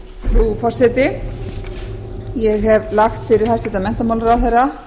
frú forseti ég hef lagt fyrir hæstvirtan menntamálaráðherra